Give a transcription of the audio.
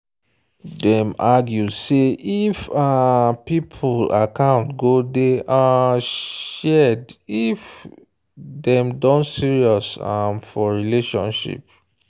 dem argue say if um people account go day um shared if dem don serious um for relationship